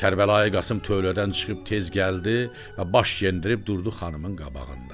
Kərbəlayı Qasım tövlədən çıxıb tez gəldi və baş yendirib durdu xanımın qabağında.